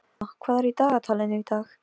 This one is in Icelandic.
Guðmunda, hvað er á dagatalinu í dag?